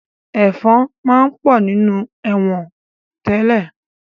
Ẹ̀fọ̀n máa ń pọ̀ nínú ẹ̀wọ̀n tẹ́lẹ̀